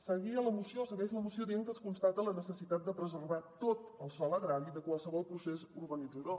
seguia la moció o segueix la moció dient que es constata la necessitat de preservar tot el sòl agrari de qualsevol procés urbanitzador